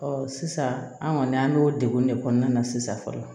sisan an kɔni an bɛ o degun de kɔnɔna na sisan